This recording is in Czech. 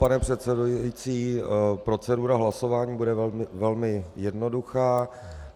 Pane předsedající, procedura hlasování bude velmi jednoduchá.